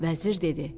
Vəzir dedi: